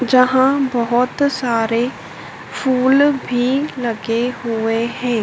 जहां बहोत सारे फूल भी लगे हुए हैं।